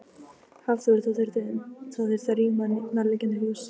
Hafþór: Það þurfti að rýma nærliggjandi hús?